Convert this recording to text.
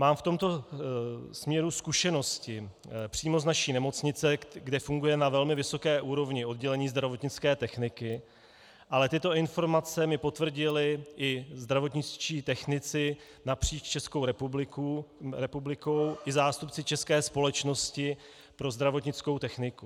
Mám v tomto směru zkušenosti přímo z naší nemocnice, kde funguje na velmi vysoké úrovni oddělení zdravotnické techniky, ale tyto informace mi potvrdili i zdravotničtí technici napříč Českou republikou i zástupci České společnosti pro zdravotnickou techniku.